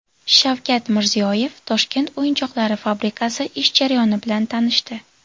Shavkat Mirziyoyev Toshkent o‘yinchoqlari fabrikasi ish jarayoni bilan tanishdi .